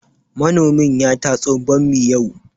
Manomin ya tatso bammi yau